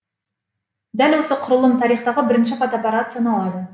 дәл осы құрылым тарихтағы бірінші фотоаппарат саналады